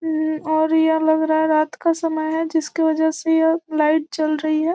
उम्म और यह लग रहा है रात का समय है जिसके वजह से यह लाइट जल रही है।